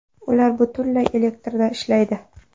Ular butunlay elektrda ishlaydi.